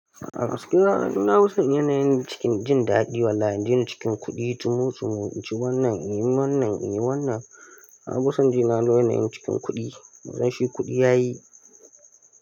A wasu kiranai na fisan yanayin cikin jin daɗi wallahi in jini cikin kuɗi. Tu mutsi mu ci wannan, yi wannan, yi wannan. Na fisan jina na yanayin cikin kuɗi. Wajen shi kuɗi ya yi.